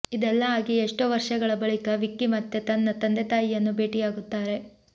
ಇದೆಲ್ಲಾ ಆಗಿ ಎಷ್ಟೋ ವರ್ಷಗಳ ಬಳಿಕ ವಿಕ್ಕಿ ಮತ್ತೆ ತನ್ನ ತಂದೆ ತಾಯಿಯನ್ನು ಭೇಟಿಯಾಗುತ್ತಾರೆ